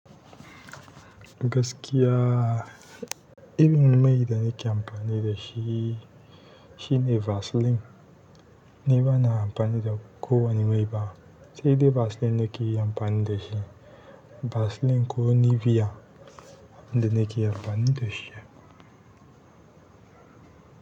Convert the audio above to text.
Gaskiya, irin mai da nake amfani da shi, shine Vaseline. Ni bana amfani da ko wane mai ba, sai dai Vaseline nake amfani da shi. Vaseline ko Nivea, ita ne nake amfani da shi.